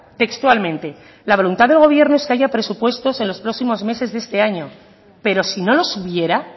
textualmente la voluntad de gobierno es que haya presupuestos en los próximos meses de este año pero si no los hubiera